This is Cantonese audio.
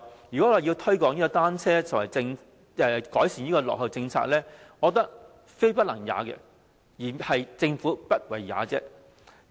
要推廣單車及改善落後的政策，我覺得非不能也，而是政府不為也。